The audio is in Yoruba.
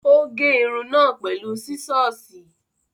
Ó gé irun náà pẹ̀lú sísọ́ọ̀sì.